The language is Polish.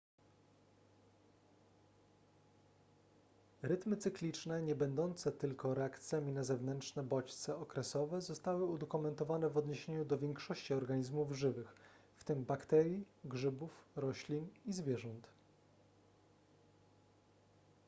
rytmy cykliczne niebędące tylko reakcjami na zewnętrzne bodźce okresowe zostały udokumentowane w odniesieniu do większości organizmów żywych w tym bakterii grzybów roślin i zwierząt